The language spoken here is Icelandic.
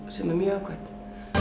sem er mjög jákvætt